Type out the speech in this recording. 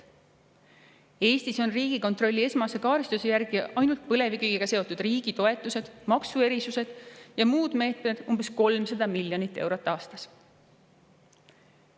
Eestis ainult põlevkiviga seotud riigitoetused, maksuerisused ja muud meetmed Riigikontrolli esmase kaardistuse järgi umbes 300 miljonit eurot aastas.